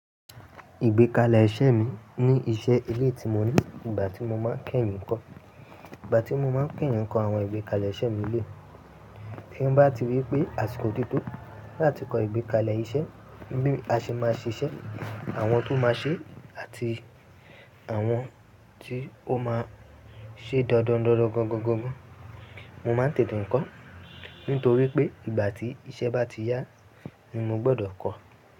Ìgbékalẹ̀ iṣẹ́ mi ní iṣẹ́ ilé tí mo ní ìgbà tí mo máa ń kẹ́yìn ń kọ. Ìgbà tí mo máa ń kẹ́yìn ń kọ àwọn ìgbékalẹ̀ iṣẹ́ mi lé. Tí mo bá ti rí pé àsìkò tó tó láti kọ ìgbékalẹ̀ iṣẹ́, bí a ṣe máa ṣíṣe, àwọn tó máa ṣe àti àwọn tí ó máa ṣe dandan dandan gan gan gan gan. Mo máa ń tètè ń kọ, nítorí pé ìgbà tí iṣẹ́ bá ti yá ni mo gbọ́dọ̀ kọ.